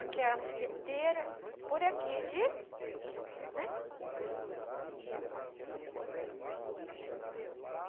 Aquela musquiteira por aqui de... né?